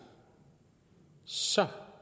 så